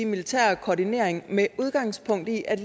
militære koordinering med udgangspunkt i at